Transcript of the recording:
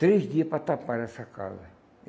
Três dia para taparem essa casa.